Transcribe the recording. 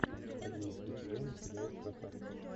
одиннадцатый сезон сериал красавцы